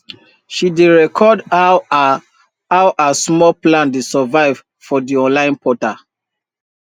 she dey record how her how her small plants dey survive for d online portal